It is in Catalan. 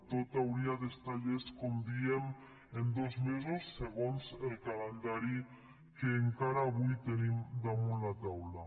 tot hauria d’estar llest com diem en dos mesos segons el calendari que encara avui tenim damunt la taula